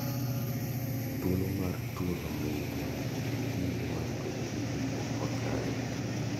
Thuolo mar tuono miyo gi kinde mar bedo gi ikruok makare.